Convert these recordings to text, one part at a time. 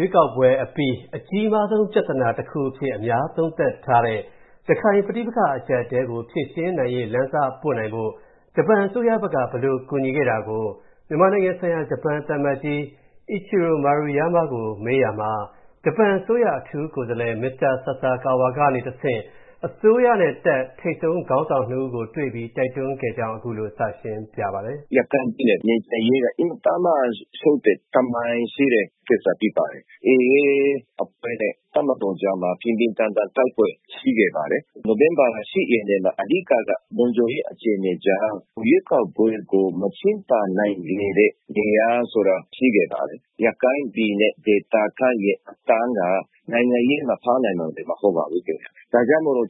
ွေးကောက်ပွဲအပြီး အကြီးမားဆုံးပြဿနာတစ်ခုအဖြစ် အများသုံးသပ်ထားတဲ့၊ ရခိုင်ပဋိပက္ခအကြပ်အတည်းကို ဖြေရှင်းနိုင်ရေးလမ်းစပွင့်နိုင်ဖို့၊ ဂျပန်အစိုးရဖက်က ဘယ်လိုကူညီခဲ့တာကို၊ မြန်မာနိုင်ငံဆိုင်ရာ ဂျပန်သံအမတ်ကြီး Ichiro Maruyama ကို ကိုဝင်းမင်းကမေးရာမှာ၊ ဂျပန်အစိုးရအထူးကိုယ်စားလှယ် Mr. Sasakawa ကနေတဆင့်၊ အစိုးရနဲ့တပ်ထိပ်ဆုံးခေါင်းဆောင် ၂ ဦးကိုတွေ့ပြီး တိုက်တွန်းခဲ့ကြောင်း ခုလိုစရှင်းပြပါတယ်။ ရခိုင်ပြည်နယ်ငြိမ်ချမ်းရေးက အင်မတန်မှာ ရှုပ်တဲ့သမိုင်းရှိတဲ့ ကိစ္စဖြစ်ပါတယ်။ AA အဖွဲ့နဲ့ တပ်မတော်ကြားမှာ ပြင်းပြင်းထန်ထန်တိုက်ပွဲ ရှိခဲ့ပါတယ်။ နိုဝင်ဘာ ၈ ရက်နေ့မှာ အဓိကက လုံခြုံရေးအခြေအနေကြောင့် ရွေးကောက်ပွဲကို မကျင်းပနိုင်ခဲ့တဲ့နေရာဆိုတာ ရှိခဲ့ပါတယ်။ ရခိုင်ပြည်နယ် ဒေသခံတွေရဲ့ အသံက နိုင်ငံရေးမှာ ပါနိုင်တော့မှာမဟုတ်ပါဘူးခင်ဗျ ။ ဒါကြောင့်မို့လို့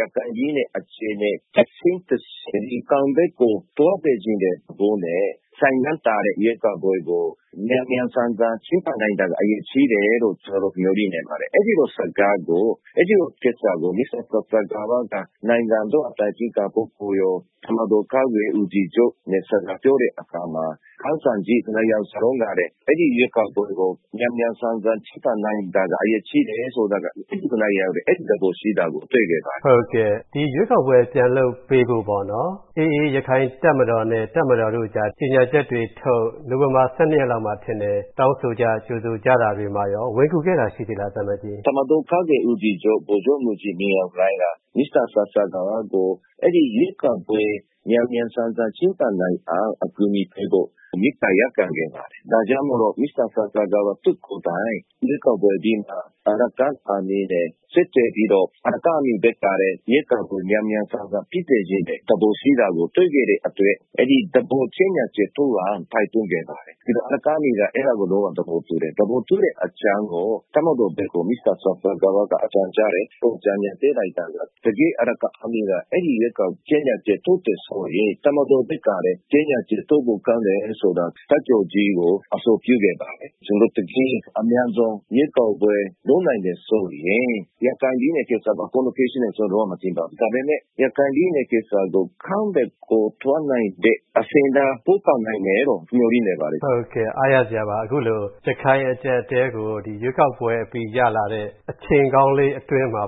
ရခိုင်ပြည်နယ်အခြေအနေ တဆင့်ပြီးတဆင့် အကောင်းဘက်ကို သွားစေချင်တဲ့သဘောနဲ့ ဆိုင်းငံ့ထားတဲ့ရွေးကောက်ပွဲကို မြန်မြန်ဆန်ဆန် ကျင်းပနိုင်တာက အရေးကြီးတယ်လို့ ကျနော်တို့ မျှော်လင့်နေပါတယ်။ အဲဒီလိုစကားကို၊ အဲ့ဒီလိုကိစ္စကို Mr. Sasakawa က နိုင်ငံတော်အတိုင်ပင်ခံပုဂ္ဂိုလ်ရော၊ တပ်မတော်ကာကွယ်ရေးဦးစီးချုပ် နဲ့ စကားပြောတဲ့အခါမှာ ခေါင်ဆောင်ကြီး ၂ ယောက်စလုံးက အဲဒီရွေးကောက်ပွဲကို မြန်မြန်ဆန်ဆန် ကျင်းပနိုင်တာက အရေးကြီးတယ်ဆိုတာက အဲဒီ ၂ ယောက်လည်း အဲဒီသဘောရှိခဲ့တာကို တွေ့ခဲ့ရပါတယ်။ ဟုတ်ကဲ့ ဒီရွေးကောက်ပွဲပြန်လုပ်ပေးဖို့ပေါ့နော် AA ရခိုင်တပ်မတော်နဲ့ တပ်မတော်တို့ကြား ကြေညာချက်တွေထုတ်၊ နိုဝင်ဘာ ၁၂ ရက်နေ့လောက်မှာထင်တယ်၊ တောင်းဆိုကြ ကြိုဆိုကြတာတွေမှာရော ဝင်ကူခဲ့တာရှိသေးလား သံအမတ်ကြီး။ တပ်မတော်ကာကွယ်ရေးဦးစီးချုပ် ဗိုလ်ချုပ်မှူးကြီးမင်းအောင်လှိုင် က Mr. Sasakawa ကို အဲဒီရွေးကောက်ပွဲ မြန်မြန်ဆန်ဆန် ကျင်းပနိုင်အောင် အကူအညီပေးဖို့ မေတ္တာရပ်ခံ ခဲ့ပါတယ်။ ဒါကြောင့်မို့လို့ Mr. Sasakawa သူကိုယ်တိုင် ရွေးကောက်ပွဲအပြီးမှာ Araken Army နဲ့ ဆက်သွယ်ပြီးတော့၊ Araken Army ဖက်ကလည်း ရွေးကောက်ပွဲမြန်မြန်ဆန်ဆန်ဖြစ်စေချင်တဲ့ သဘောရှိတာကို တွေ့ရခဲ့တဲ့အတွက်၊ အဲဒီသဘောကြေညာချက်ထုတ်အောင် တိုက်တွန်းခဲ့ပါတယ်။ ပြီးတော့ AA က အဲဒါကို လုံးဝသဘောတူတယ် ။ အဲဒီလို သဘောတူတဲ့အတွက် သဘောတူတဲ့အကြောင်းကို တပ်မတော်ဘက်ကို Mr. Sasakawa ကအကြောင်းကြားတယ်၊ နောက် သူ အကြံအဉာဏ်ပေးတာက ၊တကယ်ကို AA က ဒီရွေးကောက်ပွဲအတွက် ကြေညာချက်ထုတ်တယ်ဆိုရင်၊ တပ်မတော်ဘက်ကလည်း ကြေညာချက်ထုတ်ဖို့ ကောင်းတယ်ဆိုတာ တပ်ချုပ်ကြီးကို အဆိုပြုခဲ့တယ်။ ကျွန်တော်တို့ တကယ်အမြန်ဆုံး ရွေးကောက်ပွဲလုပ်နိုင်တယ်ဆိုရင် ရခိုင်ပြည်နယ်ကိစ္စအကုန်လုံးဖြေရှင်းနိုင်မယ်လို့တော့ ကျတော်မထင်ပါဘူး ။ ဒါပေမယ့် ရခိုင်ပြည်နယ်ကိစ္စကို အကောင်းဘက်ကို သွားနိုင်တဲ့အဆင့်နား ပို့ဆောင်နိုင်တယ်လို့ မျှော်လင့်နေပါတယ်။ ဟုတ်ကဲ့ အားရစရာပါ။ အခုလို ရခိုင်အကျပ်အတည်းကို ဒီရွေးကောက်ပွဲအပြီး ရလာတဲ့ အချိန်ကောင်းလေးအတွင်းမှာ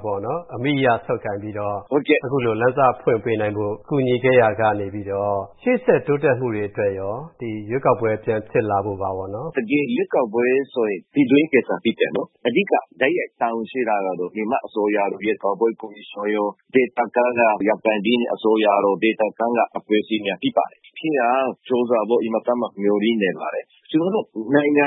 အမိအရဆုပ်ကိုင်ပြီးတော့ အခုလို လမ်းစဖွင့်ပေးဖို့ ကူညီခဲ့ရကနေပြီးတော့ ရှေ့ဆက်တိုးတက်မှုတွေအတွက်ရော ဒီရွေးကောက်ပွဲ ပြန်ဖြစ်လာဖို့မှာပေါ့နော်။ တကယ်ရွေးကောက်ပွဲဆိုတာက ပြည်တွင်းကိစ္စဖြစ်တယ်နော်။ အဓိက တိုက်ရိုက်တာဝန်ရှိတာကတော့ မြန်မာအစိုးရ ၊ ရွေးကောက်ပွဲကော်မရှင်ရော၊ ရခိုင်ပြည်နယ်အစိုးရတို့ ဒေသခံအဖွဲ့အစည်းများဖြစ်ပါတယ်။ ဖြစ်အောင်ကြိုးစားဖို့ အင်မတန်မှ မျှော်လင့်နေပါတယ်။ ကျနော်တို့ နိုင်ငံ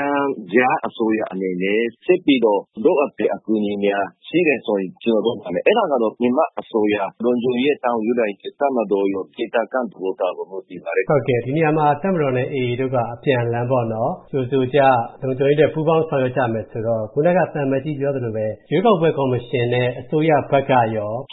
ခြားအစိုးရအနေနဲ့ ဆက်ပြီးတော့ လိုအပ်တဲ့အကူအညီများရှိတယ်ဆိုရင် ကျွန်တော်တို့လုပ်ပေးပါမယ်။ အဲဒါကတော့ မြန်မာအစိုးရ၊ လုံခြုံရေးတာဝန်ယူထားတဲ့ တပ်မတော်ရော ၊ ဒေသခံ သဘောထားရော မူတည်ပါတယ်။ ဟုတ်ကဲ့ ဒီနေရာမှာ တပ်မတော်နဲ့ AA တို့က အပြန်အလှန်ကြိုဆိုကြ၊ လုံခြုံရေးအတွက် ပူးပေါင်းဆောင်ရွက်ကြမယ်ဆိုတော့ ခုနက သံအမတ်ကြီးပြောသလိုပဲ ရွေးကောက်ပွဲကော်မရှင်နဲ့ အစိုးရဘက်ကရော။